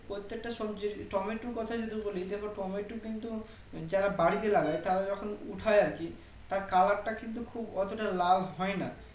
প্রত্যেকটা সবজি টমেটোর কোথায় যদি বলি দেখো টমেটো কিন্তু যারা বাড়িতে লাগাই তারা যখন উঠায় আরকি তার Color তা কিন্তু খুব অটোটা লাল হয়না